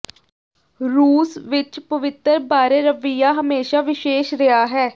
ਰੂਸ ਵਿਚ ਪਵਿੱਤਰ ਬਾਰੇ ਰਵੱਈਆ ਹਮੇਸ਼ਾ ਵਿਸ਼ੇਸ਼ ਰਿਹਾ ਹੈ